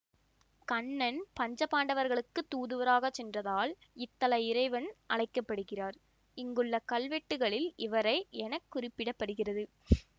கண்ணன் பஞ்ச பாண்டவர்களுக்குத் தூதுவராக சென்றதால் இத்தல இறைவன் அழைக்க படுகிறார் இங்குள்ள கல்வெட்டுக்களில் இவரை என குறிப்பிட பட்டிருக்கிறது